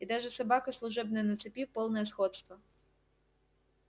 и даже собака служебная на цепи полное сходство